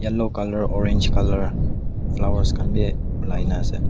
yellow colour orange colour flowers khan bi olai nah ase.